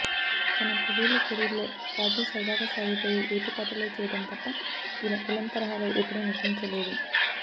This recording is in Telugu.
తన పదేళ్ళ కెరీర్లో కాజల్ సరదాగా సాగిపోయే యువతి పాత్రలే చేయడం తప్ప ఇలా విలన్ తరహాలో ఎప్పుడూ నటించలేదు